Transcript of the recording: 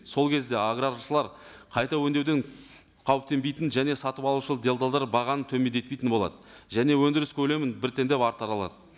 сол кезде аграршылар қайта өңдеуден қауіптенбейтін және сатып алушы делдалдар бағаны төмендетпейтін болады және өндіріс көлемін біртіндеп арттыра алады